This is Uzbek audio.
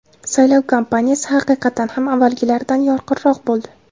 Saylov kampaniyasi, haqiqatan ham avvalgilaridan yorqinroq bo‘ldi.